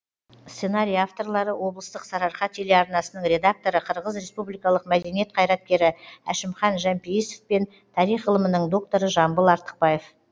сценарий авторлары облыстық сарыарқа телеарнасының редакторы қырғыз республикасының мәдениет қайраткері әшімхан жәмпейісов пен тарих ғылымының докторы жамбыл артықбаев